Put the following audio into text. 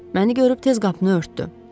Məni görüb tez qapını örtdü.